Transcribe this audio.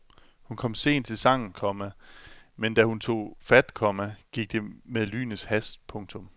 Hun kom sent til sangen, komma men da hun tog fat, komma gik det med lynets hast. punktum